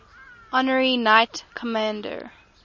honorary knights commander